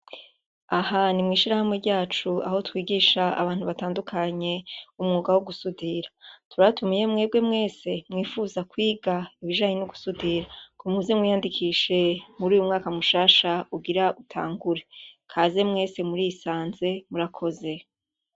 Ahantu mw'ishirahamwe ryacu, aho twigisha abantu batandukanye umwuga wo gusudira. Turabatumiye mwebwe mwese mwipfuza kwiga ibijanye no gusudira ngo muze mwiyandikishe muri uyu mwaka mushasha ugira utangure. Kaz mwese murisanze, murakoze.